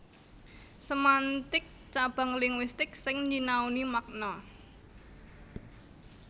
Semantik cabang linguistik sing nyinaoni makna